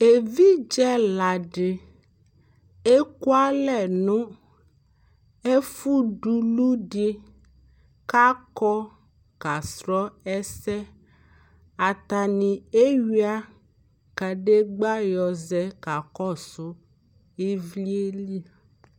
Evidze ɛla dɩ ekʋalɛ nʋ ɛfʋ duku dɩ k'akɔ kasʋ ɛsɛ Atanɩ eyua kadegba yɔzɛ kakɔsʋ ɩvlɩ yɛ li